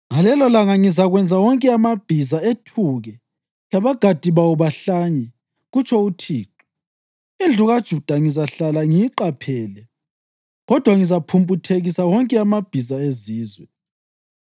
Ngalelolanga ngizakwenza wonke amabhiza ethuke labagadi bawo bahlanye,” kutsho uThixo. “Indlu kaJuda ngizahlala ngiyiqaphele, kodwa ngizaphumputhekisa wonke amabhiza ezizwe.